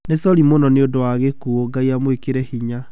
Nĩ sori mũno niũndũ wa gĩkuo, Ngai amwĩkĩre hinya.